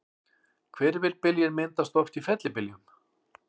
Hvirfilbyljir myndast oft í fellibyljum.